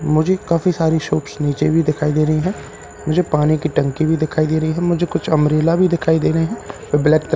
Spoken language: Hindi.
मुझे काफी सारी शॉप्स नीचे भी दिखाई दे रही है मुझे पानी की टंकी भी दिखाई दे रही है मुझे कुछ अम्ब्रेला भी दिखाई दे रहे है ब्लैक --